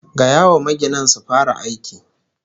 Gaya wa maginan su fara aikin